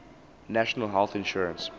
national health insurance